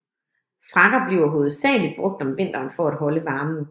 Frakker bliver hovedsageligt brugt om vinteren for at holde varmen